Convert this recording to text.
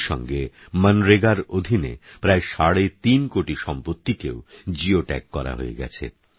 এরইসঙ্গেমনরেগারঅধীনেপ্রায়সাড়েতিনকোটিসম্পত্তিকেওGeo Tagকরাহয়েগেছে